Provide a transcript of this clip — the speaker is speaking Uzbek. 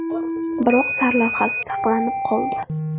Biroq sarlavhasi saqlanib qoldi.